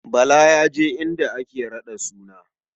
Bala ya je inda ake raɗa suna.